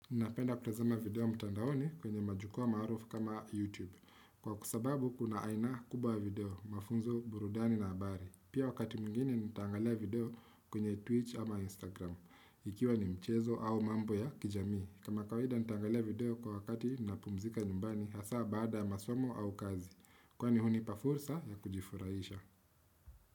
Ninapenda kutazama video mtandaoni kwenye majukwaa maarufu kama YouTube. Kwa sababu kuna aina kubwa ya video mafunzo burudani na habari. Pia wakati mwingine nitaangalia video kwenye Twitch ama Instagram. Ikiwa ni michezo au mambo ya kijamii. Kama kawaida nitaangalia video kwa wakati ninapumzika nyumbani hasa baada ya masomo au kazi. Kwani hunipa fursa ya kujifurahisha.